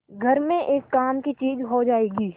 घर में एक काम की चीज हो जाएगी